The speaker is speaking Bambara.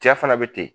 Cɛ fana bɛ ten